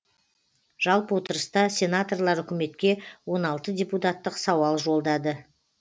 жалпы отырыста сенаторлар үкіметке он алты депутаттық сауал жолдады